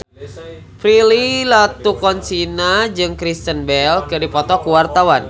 Prilly Latuconsina jeung Kristen Bell keur dipoto ku wartawan